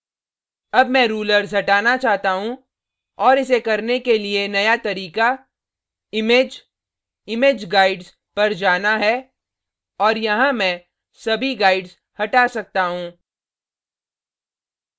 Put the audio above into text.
अब मैं rulers हटाना चाहता हूँ और इसे करने के लिए now तरीका image image guides पर जाना है और यहाँ मैं सभी guides हटा सकता हूँ